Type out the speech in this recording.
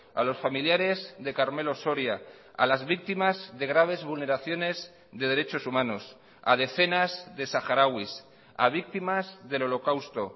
a los familiares de carmelo soria a las víctimas de graves vulneraciones de derechos humanos a decenas de saharauis a víctimas del holocausto